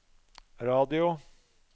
radio